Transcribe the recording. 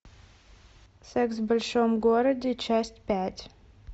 секс в большом городе часть пять